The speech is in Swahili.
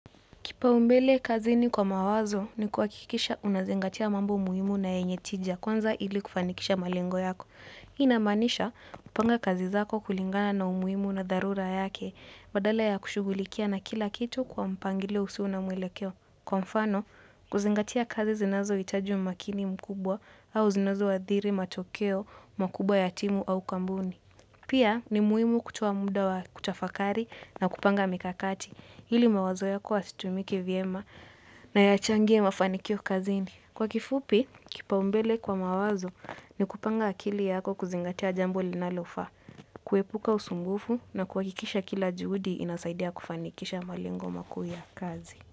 Kipaumbele kazini kwa mawazo ni kuhakikisha unazingatia mambo muhimu na yenye tija kwanza ili kufanikisha malengo yako. Hii inamaanisha kupanga kazi zako kulingana na umuhimu na dharura yake badala ya kushughulikia na kila kitu kwa mpangilio usio na mwelekeo. Kwa mfano, kuzingatia kazi zinazohitaji umakini mkubwa au zinazoathiri matokeo, makubwa ya timu au kampuni. Pia ni muhimu kutoa muda wa kutafakari na kupanga mikakati hili mawazo yako yatumike vyema na yachangie mafanikio kazini. Kwa kifupi, kipaumbele kwa mawazo ni kupanga akili yako kuzingatia jambo linalofaa, kuepuka usumbufu na kuhakikisha kila juhudi inasaidia kufanikisha malengo makuu ya kazi.